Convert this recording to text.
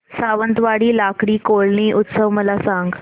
सावंतवाडी लाकडी खेळणी उत्सव मला सांग